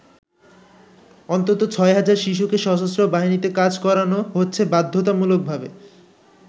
অন্তুত ছয় হাজার শিশুকে সশস্ত্র বাহিনীতে কাজ করানো হচ্ছে বাধ্যতামূলকভাবে।